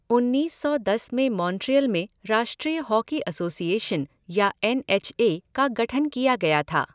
उन्नीस सौ दस में मॉन्ट्रियल में राष्ट्रीय हॉकी एसोसिएशन या एन एच ए का गठन किया गया था।